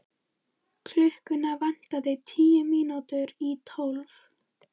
Hún er kona sem vinnur mikið.